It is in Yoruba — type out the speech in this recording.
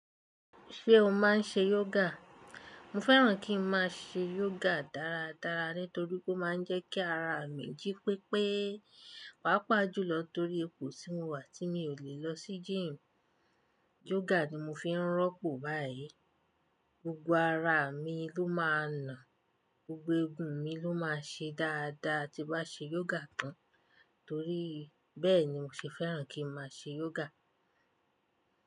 Ṣé o máa ń ṣe yoga? Mo fẹ́ràn kí n máa ṣe yoga dáradára nítorí pé ó máa ń jẹ́ kí ara mi jí pépé, pàápàá jùlọ torí ipò tí mo wà tí mi ò lè lọ sí gym. Yoga ni mo fi ń rọ́pò báyìí. Gbogbo ara mi ló máa na, gbogbo egun mi ló máa ṣe dáadáa tí n bá ṣe yoga tán. Torí bẹ́ẹ̀ ni mo ṣe fẹ́ràn kí n máa ṣe yoga.